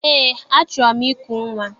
Eé, achọrọ m iku nnwa.